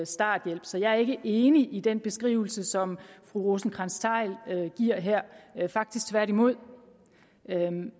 starthjælp så jeg er ikke enig i den beskrivelse som fru rosenkrantz theil giver her faktisk tværtimod